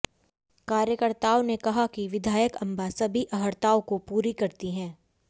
कार्यकर्ताओं ने कहा कि विधायक अंबा सभी अहर्ताओं को पूरी करती है